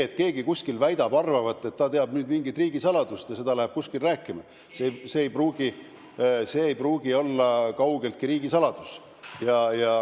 Kui keegi kuskil väidab, et ta teab mingit riigisaladust, ja läheb seda rääkima, siis see ei pruugi olla kaugeltki riigisaladus.